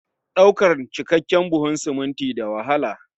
Ɗaukan cikakken buhun siminti da wahala